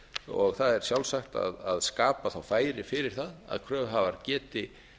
og það er sjálfsagt að skapa þá færi fyrir það að kröfuhafar geti